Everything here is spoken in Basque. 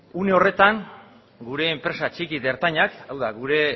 une horretan gure enpresa txiki eta ertainak hau da gure